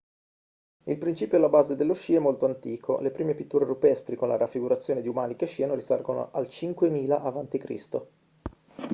il principio alla base dello sci è molto antico le prime pitture rupestri con la raffigurazione di umani che sciano risalgono al 5000 a.c